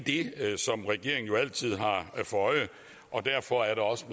som regeringen jo altid har for øje og derfor er det også